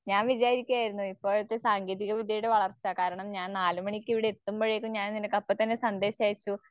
ഞാൻ വിചാരിക്കുയാരുന്നു ഇപ്പോഴത്തെ സാങ്കേതികവിദ്യയുടെ വളർച്ച നാലുമണിക്ക് ഇവിടെയെത്തുമ്പഴേക്കും ഞാൻ നിനക്കപ്പത്തന്നെ സന്ദേശയച്ചു.